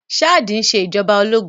Ṣáàdì ń ṣe ìjọba ológun